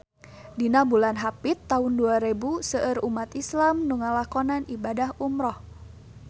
Dina bulan Hapit taun dua rebu seueur umat islam nu ngalakonan ibadah umrah